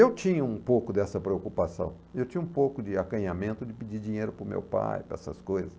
Eu tinha um pouco dessa preocupação, eu tinha um pouco de acanhamento de pedir dinheiro para o meu pai, para essas coisas.